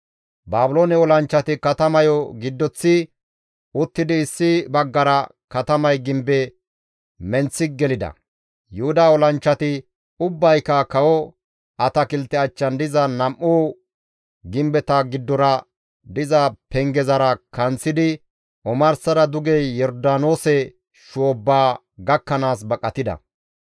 Baabiloone olanchchati katamayo giddoththi uttidi issi baggara katamay gimbe menththi gelida; Yuhuda olanchchati ubbayka kawo atakilte achchan diza nam7u gimbeta giddora diza pengezara kanththidi omarsara duge Yordaanoose shoobba gakkanaas baqatida.